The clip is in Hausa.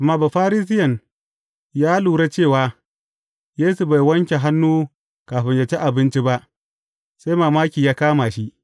Amma Bafarisiyen ya lura cewa, Yesu bai wanke hannu kafin ya ci abinci ba, sai mamaki ya kama shi.